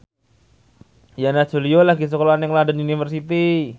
Yana Julio lagi sekolah nang London University